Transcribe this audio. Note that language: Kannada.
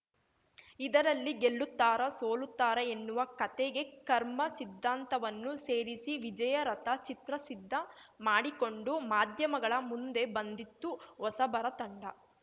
ಇದರಲ್ಲಿ ಗೆಲ್ಲುತ್ತಾರಾ ಸೋಲುತ್ತಾರಾ ಎನ್ನುವ ಕತೆಗೆ ಕರ್ಮ ಸಿದ್ಧಾಂತವನ್ನು ಸೇರಿಸಿ ವಿಜಯ ರಥ ಚಿತ್ರ ಸಿದ್ಧ ಮಾಡಿಕೊಂಡು ಮಾಧ್ಯಮಗಳ ಮುಂದೆ ಬಂದಿತ್ತು ಹೊಸಬರ ತಂಡ